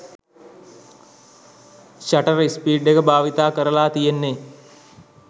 shutter speed එක භාවිතා කරල තියෙන්නේ